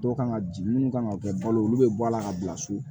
Dɔw kan ka ji mun kan ka kɛ balo ye olu bɛ bɔ ala ka bila so